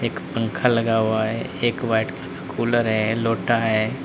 एक पंखा लगा हुआ है एक वाइट कलर का कूलर है लोटा है।